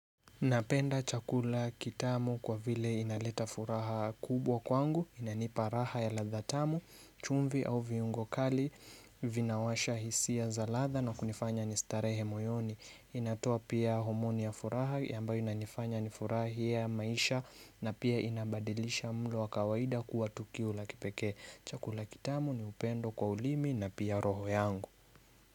Napenda chakula kitamu kwa vile inaleta furaha kubwa kwangu, inanipa raha ya ladha tamu, chumvi au viungo kali, vinawasha hisia za ladha na kunifanya nistarehe moyoni. Inatoa pia homoni ya furaha ambayo inanifanya nifurahia maisha na pia inabadilisha mlo wa kawaida kuwa tukio la kipekee. Chakula kitamu ni upendo kwa ulimi na pia roho yangu.